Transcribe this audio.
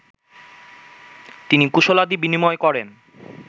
তিনি কুশলাদি বিনিময় করেন